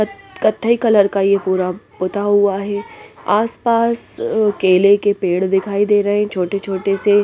कथई कलर का ये पूरा पुता हुआ हैं आसपास केले के पेड़ दिखाई दे रहे हैं छोटे-छोटे से --